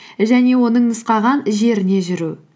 және оның нұсқаған жеріне жүру